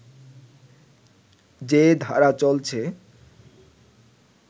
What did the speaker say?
যে ধারা চলছে